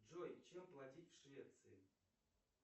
джой чем платить в швеции